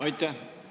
Aitäh!